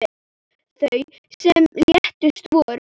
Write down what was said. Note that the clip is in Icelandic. Þau sem létust voru